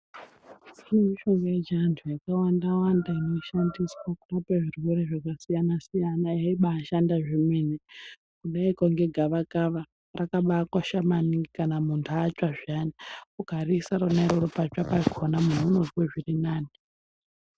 Kune mishonga yechiantu yakawanda wanda inoshandiswa kurapa zvirwere zvakasiyana siyana yeibashanda zvemene kudaiko ngegavakava rakabakosha maningi kana muntu atsva zviyani ukariise rona iroro patsva pakona muntu unozwe zvirinani.